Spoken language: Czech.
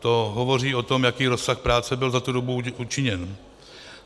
To hovoří o tom, jaký rozsah práce byl za tu dobu učiněn.